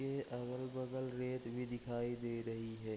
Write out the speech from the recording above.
के अगल-बगल रेत भी दिखाई दे रही है।